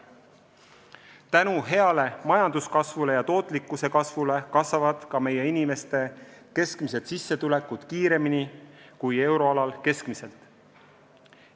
Tänu heale majanduskasvule ja tootlikkuse suurenemisele kasvavad ka meie inimeste keskmised sissetulekud kiiremini kui euroalal keskmiselt.